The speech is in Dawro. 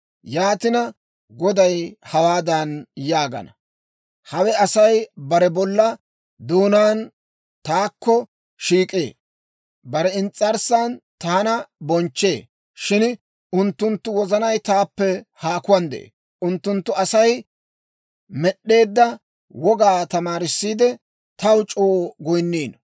Yaatina, Goday hawaadan yaagana; «Hawe Asay bare bolla doonaan taakko shiik'ee; bare ins's'arssan taana bonchchee; shin unttunttu wozanay taappe haakuwaan de'ee. Unttunttu Asay med'd'eedda wogaa tamaariidde, taw c'oo goyinniino.